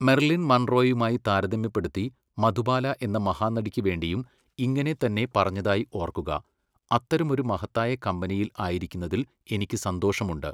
Merlin മൺറോയുമായി താരതമ്യപ്പെടുത്തി മധുബാല എന്ന മഹാനടിക്ക് വേണ്ടിയും ഇങ്ങനെ തന്നെ പറഞ്ഞതായി ഓർക്കുക, അത്തരമൊരു മഹത്തായ കമ്പനിയിൽ ആയിരിക്കുന്നതിൽ എനിക്ക് സന്തോഷമുണ്ട്!